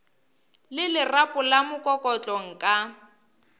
le lerapo la mokokotlo nka